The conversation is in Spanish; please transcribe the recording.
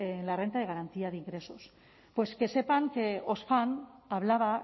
en la renta de garantía de ingresos pues que sepan que oxfam hablaba